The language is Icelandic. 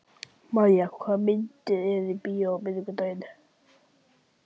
Mæja, hvaða myndir eru í bíó á miðvikudaginn?